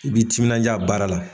I b'i timinja baara la.